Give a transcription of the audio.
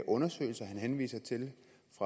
olsen fra